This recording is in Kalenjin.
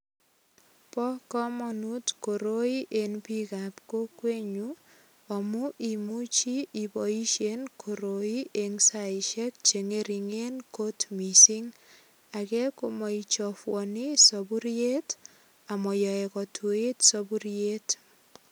Bo kamanut koroi eng biikab kokwenyu amu imuchi iboisien koroi eng saisiek che ngeringen kot mising. Age ko maichafuani sapuriet amayoe kotuit sapuriet.